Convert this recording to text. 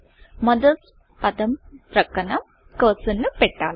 mothers పదం పక్కన cursor కర్సర్ను పెట్టాలి